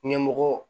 Ɲɛmɔgɔ